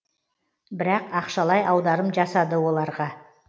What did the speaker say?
бірақ ақшалай аударым жасады оларға